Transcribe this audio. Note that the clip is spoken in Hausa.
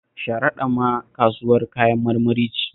Sharaɗa ma kasuwar Kayan marmari ce